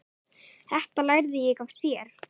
Þetta lærði ég af þér.